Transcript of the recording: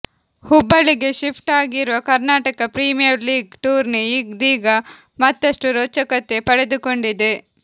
ಹುಬ್ಬಳ್ಳಿಗೆ ಶಿಫ್ಟ್ ಆಗಿರುವ Karnataka premier league tourney ಇದೀಗ ಮತ್ತಷ್ಟು ರೋಚಕತೆ ಪಡೆದುಕೊಂಡಿದೆ